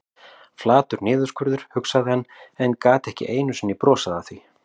Flatur niðurskurður, hugsaði hann, en gat ekki einu sinni brosað að því.